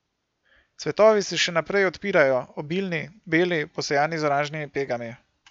Cvetovi se še naprej odpirajo, obilni, beli, posejani z oranžnimi pegami.